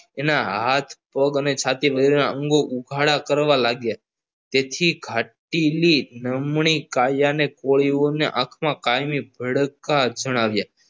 એના હાથ પગ અને છાતી ઉપરના વસ્ત્રો ઉઘાડા કરવા લાગ્યા જેથી ઘાટેલી નમણી કાયાની કોળીઓને હાથમાં કાયમી પડકાર જણાવ્યા